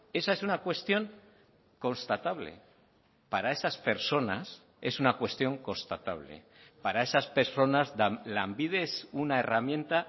esa es una cuestión constatable para esas personas es una cuestión constatable para esas personas lanbide es una herramienta